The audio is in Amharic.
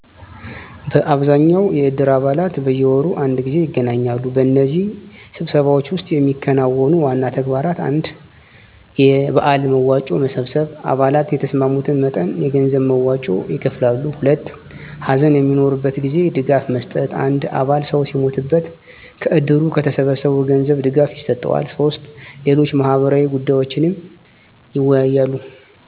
በአብዛኛው የእድር አባላት በየወሩ አንድ ጊዜ ይገናኛሉ። በእነዚህ ስብሰባዎች ውስጥ የሚከናወኑ ዋና ተግባራት: 1. የበዓል መዋጮ መሰብሰብ _አባላት የተስማሙትን መጠን የገንዘብ መዋጮ ይከፍላሉ። 2. ሀዘን በሚኖርበት ጊዜ ድጋፍ መስጠት _አንድ አባል ሰው ሲሞትበት ከእድሩ ከተሰበሰበው ገንዘብ ድጋፍ ይሰጠዋል። 3. ሌሎች ማህበራዊ ጉዳዮችንም ይወያያሉ።